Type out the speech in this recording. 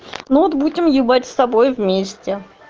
ну вот будем ебать с тобой вместе